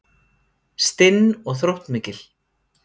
Stinn og þróttmikil.